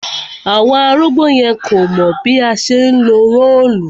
Àwọn arúgbó yẹn kò mọ̀ bí a ṣe ńlo róòlù